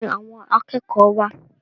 Níbo ni àwọn akẹ́kọ̀ọ́ wá à?